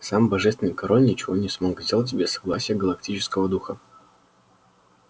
сам божественный король ничего не смог сделать без согласия галактического духа